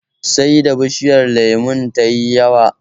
Sai da bishiyar lemon ta yi shekara kafin ta fara ƴaƴa